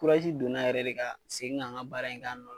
donna yɛrɛ de ka segin ka n ka baara in kɛ a nɔ na.